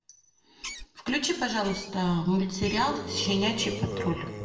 включи пожалуйста мультсериал щенячий патруль